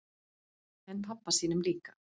En pabba sínum líka.